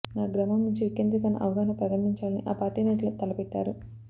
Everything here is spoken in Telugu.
ఆ గ్రామం నుంచే వికేంద్రీకరణ అవగాహన ప్రారంబించాలని ఆ పార్టీ నేతలు తలపెట్టారు